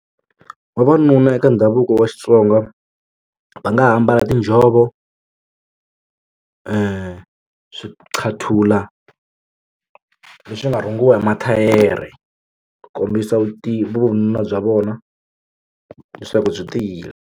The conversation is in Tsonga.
Vavanuna eka ndhavuko wa Xitsonga va nga ha ambala tinjhovo swiqathula leswi nga rhungiwa hi mathayere ku kombisa vununa bya vona leswaku byi tiyile.